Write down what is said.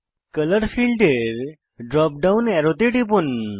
colour ফীল্ডের drop down অ্যারোতে টিপুন